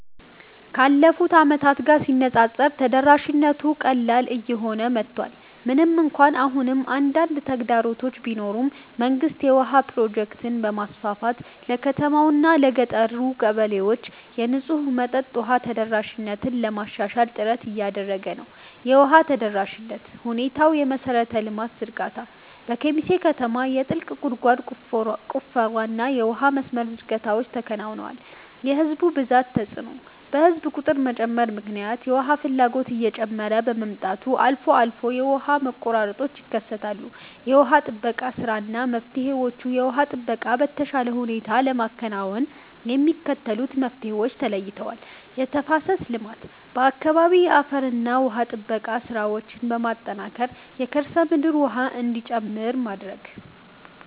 ካለፉት ዓመታት ጋር ሲነፃፀር ተደራሽነቱ ቀላል እየሆነ መጥቷል። ምንም እንኳን አሁንም አንዳንድ ተግዳሮቶች ቢኖሩም፣ መንግስት የውሃ ፕሮጀክቶችን በማስፋፋት ለከተማዋና ለገጠር ቀበሌዎች የንጹህ መጠጥ ውሃ ተደራሽነትን ለማሻሻል ጥረት እያደረገ ነው። የውሃ ተደራሽነት ሁኔታየመሠረተ ልማት ዝርጋታ፦ በኬሚሴ ከተማ የጥልቅ ጉድጓድ ቁፋሮና የውሃ መስመር ዝርጋታዎች ተከናውነዋል። የሕዝብ ብዛት ተጽዕኖ፦ በሕዝብ ቁጥር መጨመር ምክንያት የውሃ ፍላጎት እየጨመረ በመምጣቱ አልፎ አልፎ የውሃ መቆራረጦች ይከሰታሉ። የውሃ ጥበቃ ሥራና መፍትሄዎችየውሃ ጥበቃን በተሻለ ሁኔታ ለማከናወን የሚከተሉት መፍትሄዎች ተለይተዋል፦ የተፋሰስ ልማት፦ በአካባቢው የአፈርና ውሃ ጥበቃ ሥራዎችን በማጠናከር የከርሰ ምድር ውሃ እንዲጨምር ማድረግ።